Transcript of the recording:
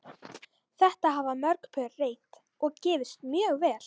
Þetta hafa mörg pör reynt og gefist mjög vel.